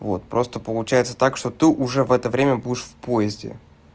вот просто получается так что ты уже в это время будешь в поезде